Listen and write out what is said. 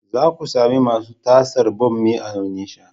Za ku sami masu tasar bommi a Onitsha.